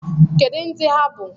Kedu ndị ha bụ?